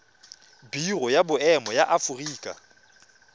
biro ya boemo ya aforika